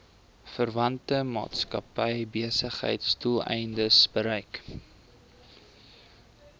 verwante maatskappybesigheidsdoeleindes gebruik